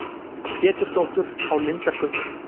Pétursdóttur á Lindargötu.